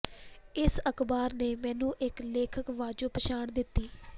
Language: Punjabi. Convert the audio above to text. ਇਸ ਅਖ਼ਬਾਰ ਨੇ ਮੈਨੂੰ ਇਕ ਲੇਖਕ ਵਜੋਂ ਪਛਾਣ ਦਿੱਤੀ